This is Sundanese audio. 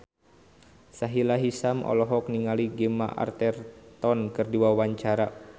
Sahila Hisyam olohok ningali Gemma Arterton keur diwawancara